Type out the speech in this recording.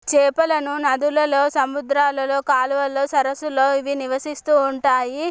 చేపలను నదులలో సముద్రాలలో కాలువలో సరస్సు లో ఇవి నివసిసితువునయ్.